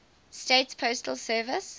states postal service